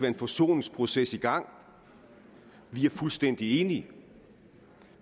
en forsoningsproces i gang vi er fuldstændig enige